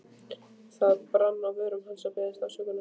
Það brann á vörum hans að biðjast afsökunar.